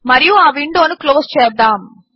మరియు ఆ విండో ను క్లోజ్ చేద్దాము